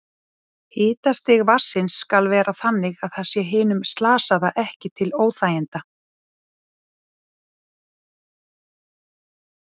Hitastig vatnsins skal vera þannig að það sé hinum slasaða ekki til óþæginda.